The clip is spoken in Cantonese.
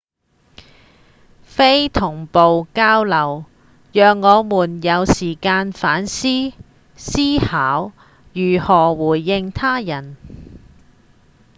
非同步交流讓我們有時間反思思考如何回應他人